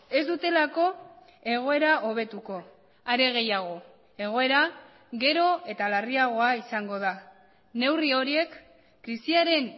ez dutelako egoera hobetuko are gehiago egoera gero eta larriagoa izango da neurri horiek krisiaren